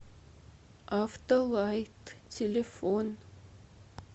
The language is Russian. автолайт телефон